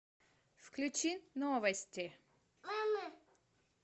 включи новости